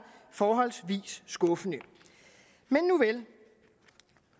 forholdsvis skuffende men nuvel